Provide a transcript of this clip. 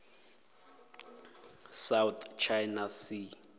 south china sea